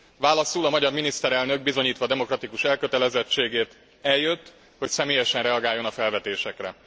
Válaszul a magyar miniszterelnök bizonyítva demokratikus elkötelezettségét eljött, hogy személyesen reagáljon a felvetésekre.